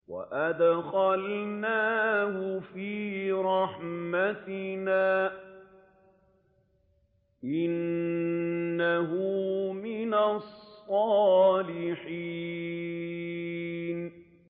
وَأَدْخَلْنَاهُ فِي رَحْمَتِنَا ۖ إِنَّهُ مِنَ الصَّالِحِينَ